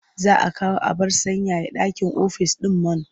Za a kawo abar sanyaya ɗaki ofis ɗin man.